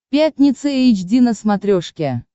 пятница эйч ди на смотрешке